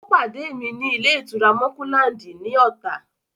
Ó pàdé mi ní ilé-ìtura Mọ́kúláǹdì ní Ọ̀tà.